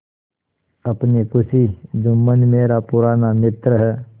अपनी खुशी जुम्मन मेरा पुराना मित्र है